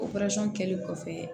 Operasɔn kɛli kɔfɛ